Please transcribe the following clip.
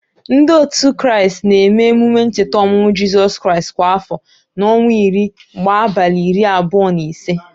Ndị òtù Kraịst na-eme emume ncheta ọmụmụ Jizọs Kraịst kwa afọ na ọnwa iri gbá abalị iri abụọ na ise.